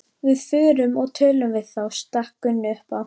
Við förum og tölum við þá, stakk Gunni upp á.